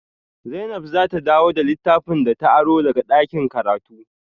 Zainab za ta dawo da littafan da ta aro daga dakin karatu